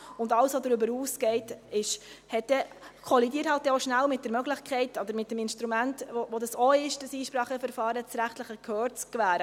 Alles, was darüber hinausgeht, kollidiert halt auch schnell mit der Möglichkeit oder dem Instrument des Einspracheverfahrens, das rechtliche Gehör zu gewähren.